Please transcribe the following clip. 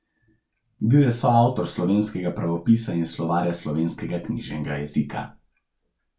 Bil je soavtor Slovenskega pravopisa in Slovarja slovenskega knjižnega jezika.